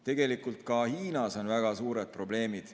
Tegelikult on ka Hiinas väga suured probleemid.